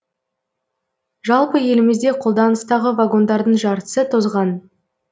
жалпы елімізде қолданыстағы вагондардың жартысы тозған